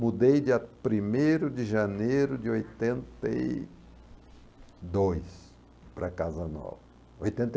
Mudei de primeito de janeiro de oitenta e dois para casa nova, oitenta e